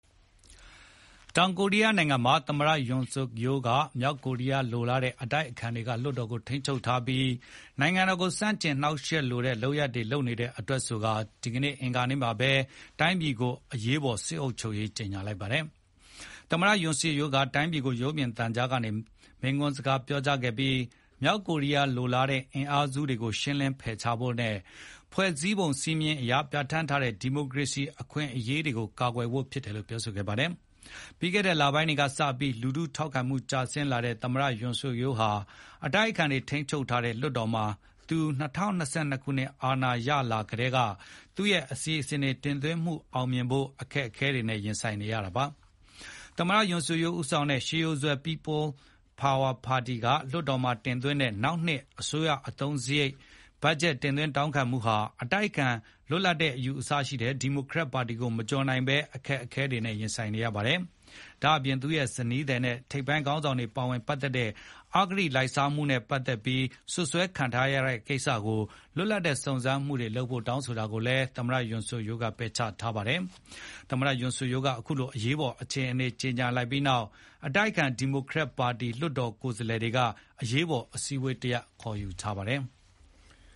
တောင်ကိုရီးယားနိုင်ငံမှာ သမ္မတ Yoon Suk Yeol က မြောက်ကိုရီးယားလိုလားတဲ့ အတိုက်အခံတွေက လွှတ်တော်ကိုထိန်းချုပ်ထားပြီး နိုင်ငံတော်ကိုဆန့်ကျင်နှောင့်ယှက်တဲ့ လုပ်ရပ်တွေလုပ်နေတဲ့အတွက် ဆိုပြီး ဒီကနေ့ အင်္ဂါနေ့မှာဘဲတိုင်းပြည်ကိုအရေးပေါ် စစ်အုပ်ချုပ်ရေးကြေညာလိုက်ပါတယ်။ သမ္မတ Yoon Suk Yeol က တိုင်းပြည်ကိုရုပ်မြင်သံကြားကနေမိန့်ခွန်းပြောကြားခဲ့ပြီး မြောက်ကိုရီးယားလိုလားတဲ့အင်အား စုတွေကိုရှင်းလင်းဖယ်ရှားဖို့နဲ့ ဖွဲ့စည်းပုံစည်းမျဉ်းအရ ပြဌာန်းထားတဲ ဒီမိုကရေစီအခွင့်အရေးတွေကို ကာကွယ်ဖို့ဖြစ်တယ်လို့ ပြောဆိုပါတယ်။ ပြီးခဲ့တဲ့လပိုင်းတွေစပြီး လူထုထောက်ခံမှုကျဆင်းလာတဲ့ သမ္မတ Yoon Suk Yeol ဟာ အတိုက်အခံတွေ ထိန်းချုပ်ထားတဲ့ လွှတ်တော်မှာ သူ ၂၀၂၂ ခုနှစ်အာဏာရလာကတည်းက သူ့ရဲ့အစီစဉ်တွေ တင်သွင်းမှုအောင်မြင်ဖို့ အခက်အခဲ တွေနဲ့ရင်ဆိုင် နေရတာပါ။ သမ္မတ Yoon Suk Yeol ဦးဆောင်တဲ့ ရှေးရိုးစွဲ People Power Party က လွှတ်တော်မှာတင်သွင်းတဲ့ နောက်နှစ် အစိုးရအသုံးစရိတ်တင်သွင်းတောင်းခံမှုဟာ အတိုက်အခံ လွတ်လပ်တဲ့အယူအဆရှိတဲ့ ဒီမိုကရက်ပါတီကို မကျော်လွန်နိုင်ဘဲအခက်အခဲနဲ့ ရင်ဆိုင်နေရတာဖြစ်ပါတယ်။ ဒါ့အပြင် သူ့ရဲ့ဇနီးသည်နဲ့ ထိပ်ပိုင်းခေါင်းဆောင်တွေပါဝင်ပတ်သက်တဲ့ အဂတိလိုက်စားမှုပတ်သက်ပြီး စွပ်စွဲခံရတဲ့ကိစ္စကိုလွတ်လပ်တဲ့စုံစမ်းမှုတွေလုပ်ဖို့ကိုလည်း သူကပယ်ချထားပါတယ်။ သမ္မတ Yoon Suk Yeol က အခုလိုရေးပေါ်အခြေအနေကြေညာပြီးနောက် အတိုက်အခံ ဒီမိုကရက်ပါတီ လွှတ်တော်ကိုယ်စားလှယ်တွေက အရေးပေါ်အစည်းအဝေးခေါ်ယူထားပါတယ်။